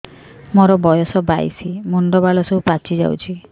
ମୋର ବୟସ ବାଇଶି ମୁଣ୍ଡ ବାଳ ସବୁ ପାଛି ଯାଉଛି